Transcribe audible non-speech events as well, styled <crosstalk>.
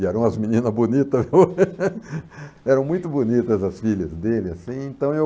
E eram umas meninas bonitas, <laughs> eram muito bonitas as filhas dele, assim, então eu...